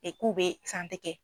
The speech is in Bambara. k'u bɛ kɛ